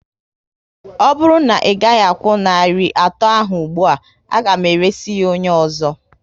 Ọ bụrụ na ị gaghị akwụ narị atọ ahụ ụgbụa, a ga m eresị ya onye ọzọ